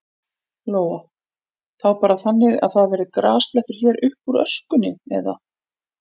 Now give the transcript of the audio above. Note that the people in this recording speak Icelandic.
Lóa: Þá bara þannig að það verði grasblettur hér uppúr öskunni, eða?